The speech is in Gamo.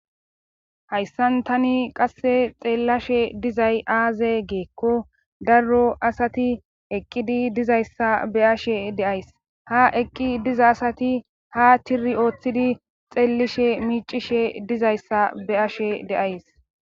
Hayssan tani qasse xeellashe dizay aaze geekko darro asati eqqidi dizayssa be ashe deays ha eqqi diza asati ha tiri ooththidi xeellishe miicishe dizayssa be ashe deays.